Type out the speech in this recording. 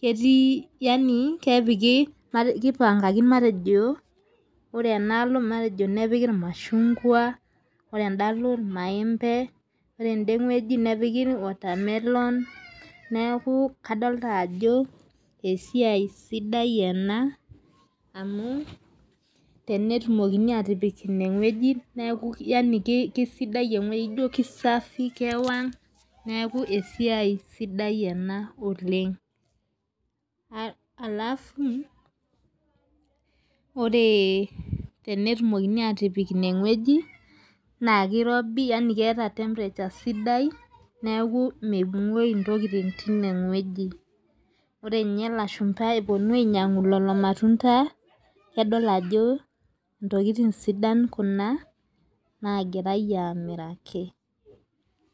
ketii yaani kepiki, kipangaki matejo, ore tenadol ilmashungua, ore eda aalo irmaembe, ore ena ede ng'ueji naa kepiki watermelon neeku kadolta ajo esiai sidai ena tenetumokini aatipik ine ng'ueji neeku yaani kisidai e wueji, safi kewang' oleng. alafu ore tenetumokini aatipik ine ng'ueji naa kirobi yaani keeta temperature sidai, neeku menguoyu ntokitin teine ng'ueji. ore ninye lashumpa epuonu ainyiangu lelo matunda kedol ajo ntokitin sidan Kuna naagirae aamiraki.